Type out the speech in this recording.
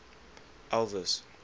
elvis